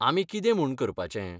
आमी कितें म्हूण करपाचें?